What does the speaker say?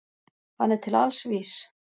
Hann er til alls vís.